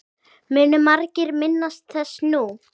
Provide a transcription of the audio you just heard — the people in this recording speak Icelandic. Munu margir minnast þess nú.